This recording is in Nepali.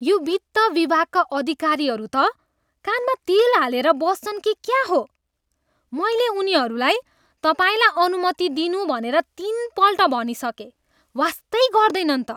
यो वित्त विभागका अधिकारीहरू त कानमा तेल हालेर बस्छन् कि क्या हो? मैले उनीहरूलाई तपाईँलाई अनुमति दिनु भनेर तिनपल्ट भनिसकेँ, वास्तै गर्दैनन् त।